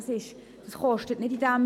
Das kostet nicht mehr.